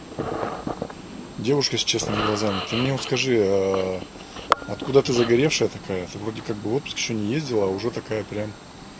девушка с честными глазами ты мне вот скажи откуда ты загоревшая такая ты вроде как бы в отпуск ещё не ездила а уже такая прям